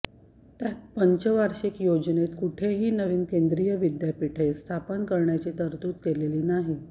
त्यात पंचवार्षिक योजनेत कुठेही नवीन केंद्रीय विद्यापीठे स्थापन करण्याची तरतूद केलेली नाही